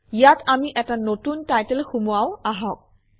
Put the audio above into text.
ইয়াত আমি এটা নতুন টাইটেল সুমুৱাও আহক